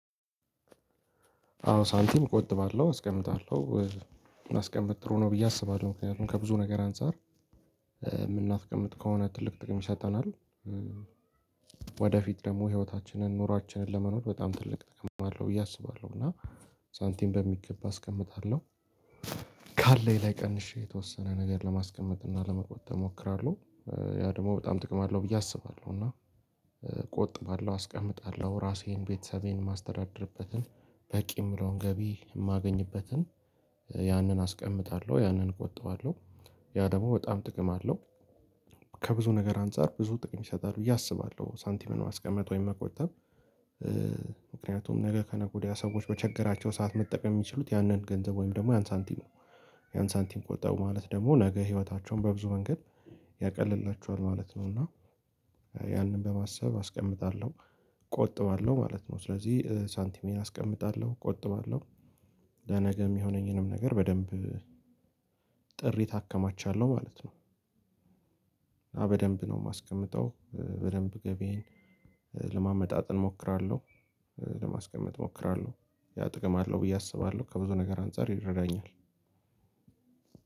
አዎ ሳንቲም እቆጥባለሁ አስቀምጣለሁ ማስቀመጥ ጥሩ ነው ብዬ አስባለሁ ምክንያቱም ከብዙ ነገር አንፃር የምናስቀምጥ ከሆነ ትልቅ ጥቅም ይሰጠናል። ወደፊት ደግሞ ህይወታችንን ኑሯችንን ለመኖር በጣም ትልቅ ጥቅም አለው ብዬ አስባለሁ እና ሳንቲም በሚገባ አስቀምጣለሁ ካለው ላይ ቀንሼ የተወሰነ ነገር ለማስቀመጥ እና ለመቆጠብ እሞክራለሁ። ያ ደግሞ በጣም ጥቅም አለው ብዬ አስባለሁ እና እቆጥባለሁ አስቀምጣለሁ ራሴን ቤተሰቤን የማስተዳደርበትን በቂ የምለውን ገቢ የማገኝበትን ያንን አስቀምጣለሁ ያንን እቆጣዋለሁ ያ ደግሞ በጣም ጥቅም አለው። ከብዙ ነገር አንፃር ብዙ ጥቅም ይሰጣል ብዬ አስባለሁ ሳንቲምን ማስቀመጥ ወይም መቆጠብ። ምክንያቱም ነገ ከነገ ወዲያ ሰዎች በቸገራቸው ሰዓት መጠቀም የሚችሉት ያንን ገንዘብ ወይም ደግሞ ያን ሳንቲም ነው። ያን ሳንቲም ቆጠቡ ማለት ደግሞ ነገ ህይወታቸውን በብዙ ወንገድ ያቀልላቸዋል ማለት ነው። እና ያንን በማሰብ አስቀምጣለሁ እቆጥባለሁ ማለት ነው። ስለዚህ ሳንቲሜን አስቀምጣለሁ ቆጥባለሁ ለነገም የሚሆነኝንም ነገር በደንብ ጥሪት አከማቻለሁ ማለት ነው። እና በደንብ ነው የማስቀምጠው በደንብ ገቢዬን ለማመጣጠን እሞክራለሁ ለማስቀመጥ እሞክራለሁ ያ ጥቅም አለው ብዬ አስባለሁ። ከብዙ ነገር አንፃር ይረዳኛል።